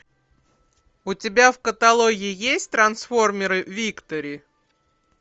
у тебя в каталоге есть трансформеры виктори